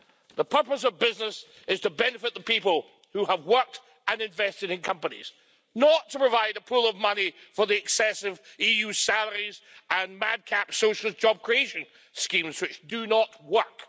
The purpose of business is to benefit the people who have worked and invested in companies, not to provide a pool of money for the excessive EU salaries and madcap social job creation schemes which do not work.